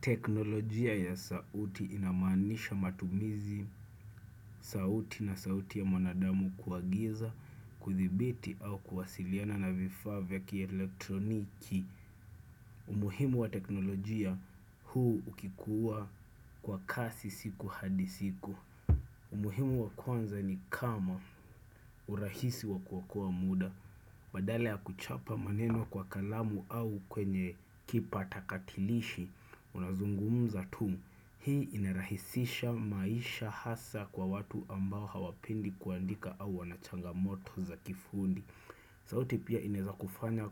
Teknolojia ya sauti inamaanisha matumizi, sauti na sauti ya manadamu kuagiza, kuthibiti au kuwasiliana na vifaa vya kielektroniki. Umuhimu wa teknolojia huu ukikuwa kwa kasi siku hadi siku. Umuhimu wa kwanza ni kama urahisi wa kuokoa muda. Badala ya kuchapa maneno kwa kalamu au kwenye kipatakatilishi, unazungumza tu. Hii inarahisisha maisha hasa kwa watu ambao hawapendi kuandika au wanachangamoto za kifundi. Sauti pia inaweza kufanya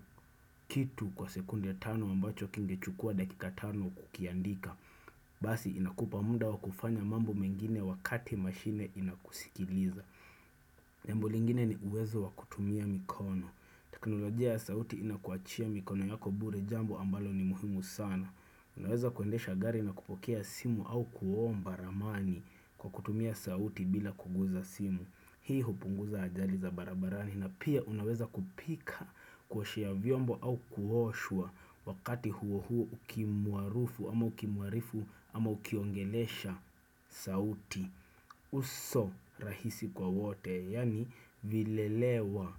kitu kwa sekunde tano ambacho kingechukua dakika tano kukiandika. Basi inakupa muda wa kufanya mambo mengine wakati mashine inakusikiliza. Jambo lingine ni uwezo wa kutumia mikono. Teknolojia ya sauti inakuwachia mikono yako bure jambo ambalo ni muhimu sana. Unaweza kuendesha gari na kupokea simu au kuomba ramani kwa kutumia sauti bila kuguza simu. Hii hupunguza ajali za barabarani na pia unaweza kupika kuoshea vyombo au kuoshwa wakati huo huo ukimwarufu ama ukimwarifu ama ukiongelesha sauti. Uso rahisi kwa wote yaani vilelewa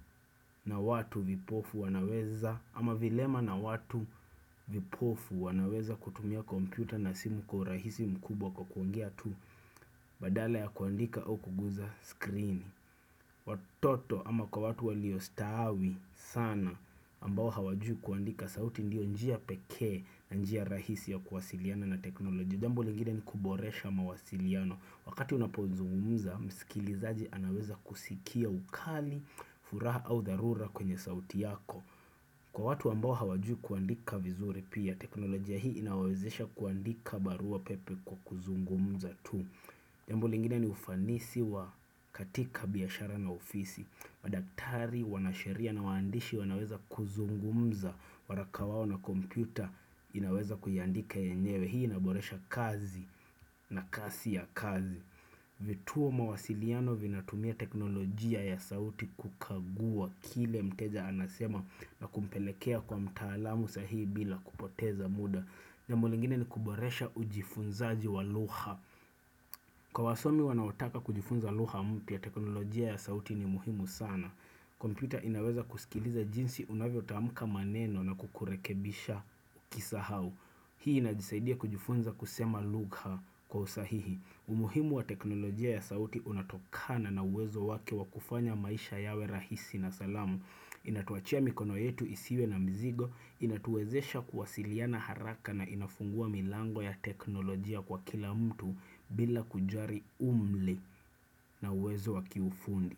na watu vipofu wanaweza ama vilema na watu vipofu wanaweza kutumia kompyuta na simu kwa urahisi mkubwa kwa kuongea tu Badala ya kuandika au kuguza screen watoto ama kwa watu waliostaawi sana ambao hawajui kuandika sauti ndio njia pekee na njia rahisi ya kuwasiliana na teknolojia. Jambo lingine ni kuboresha mawasiliano. Wakati unapozungumza, msikilizaji anaweza kusikia ukali, furaha au dharura kwenye sauti yako. Kwa watu ambao hawajui kuandika vizuri pia, teknolojia hii inawawezesha kuandika barua pepe kwa kuzungumza tu. Jambo lingine ni ufanisi wa katika biashara na ofisi. Madaktari, wanasheria na waandishi wanaweza kuzungumza. Waraka wao na kompyuta inaweza kuiandika yenyewe. Hii inaboresha kazi na kasi ya kazi. Vituo mawasiliano vinatumia teknolojia ya sauti kukagua kile mteja anasema na kumpelekea kwa mtaalamu sahihi bila kupoteza muda. Jambo lingine ni kuboresha ujifunzaji wa lugha. Kwa wasomi wanaotaka kujifunza lugha mpya teknolojia ya sauti ni muhimu sana. Kompyuta inaweza kusikiliza jinsi unavyotamka maneno na kukurekebisha ukisahau. Hii inajisaidia kujifunza kusema lugha kwa usahihi. Umuhimu wa teknolojia ya sauti unatokana na uwezo wake wa kufanya maisha yawe rahisi na salama. Inatuwachia mikono yetu isiwe na mzigo, inatuwezesha kuwasiliana haraka na inafungua milango ya teknolojia kwa kila mtu bila kujari umli na uwezo wa kiufundi.